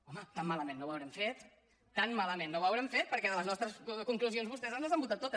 home tan malament no ho devem haver fet tan malament no ho devem haver fet perquè de les nostres conclusions vostès ens les han votat totes